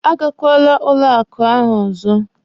A gakwara banki ahụ ọzọ!